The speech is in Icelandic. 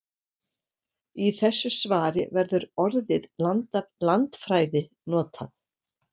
Í þessu svari verður orðið landfræði notað.